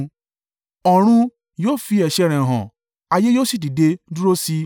Ọ̀run yóò fi ẹ̀ṣẹ̀ rẹ hàn, ayé yóò sì dìde dúró sí i.